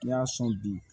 N'i y'a sɔn bi